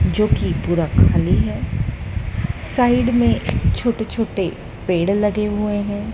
जो कि पूरा खाली है साइड में छोटे छोटे पेड़ लगे हुए हैं।